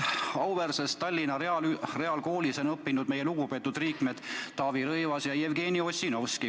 Auväärses Tallinna Reaalkoolis on õppinud meie Riigikogu lugupeetud liikmed Taavi Rõivas ja Jevgeni Ossinovski.